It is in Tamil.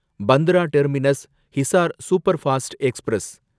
Bandra terminus Hisar superfast express